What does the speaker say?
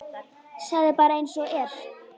Segðu bara einsog er.